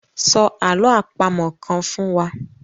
Sọ àlọ́ àpamọ̀ kan fún wa.